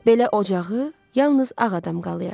Belə ocağı yalnız ağ adam qalayyar.